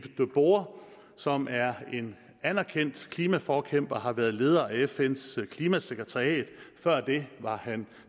boer som er en anerkendt klimaforkæmper og har været leder af fns klimasekretariat og før det var han